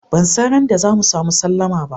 Ban san ran da za mu samu sallama ba.